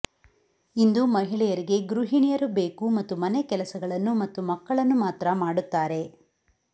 ಇಂದು ಮಹಿಳೆಯರಿಗೆ ಗೃಹಿಣಿಯರು ಬೇಕು ಮತ್ತು ಮನೆಕೆಲಸಗಳನ್ನು ಮತ್ತು ಮಕ್ಕಳನ್ನು ಮಾತ್ರ ಮಾಡುತ್ತಾರೆ